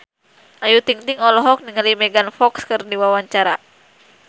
Ayu Ting-ting olohok ningali Megan Fox keur diwawancara